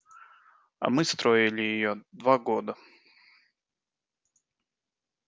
а мы строили её два года